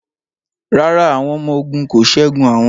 Rárá, àwọn ọmọ ogun kò ṣẹ́gun àwọn